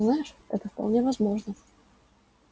знаешь это вполне возможно